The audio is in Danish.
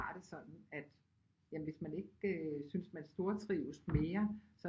Har det sådan at jamen hvis man ikke synes man stortrives mere